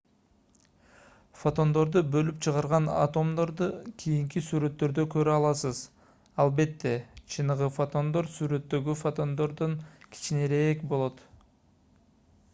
фотондорду бөлүп чыгарган атомдорду кийинки сүрөттөрдө көрө аласыз албетте чыныгы фотондор сүрөттөгү фотондордон кичинерээк болот